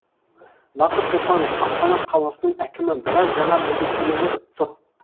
бақыт сұлтанов астана қаласының әкімі біраз жаңа міндеттемелер тұр